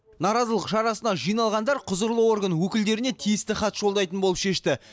наразылық шарасына жиналғандар құзырлы орган өкілдеріне тиісті хат жолдайтын болып шешті